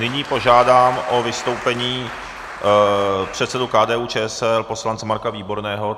Nyní požádám o vystoupení předsedu KDU-ČSL, poslance Marka Výborného.